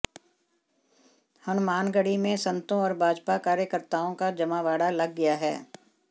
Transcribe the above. हनुमानगढ़ी में संतों और भाजपा कार्यकर्ताओं का जमावड़ा लग गया है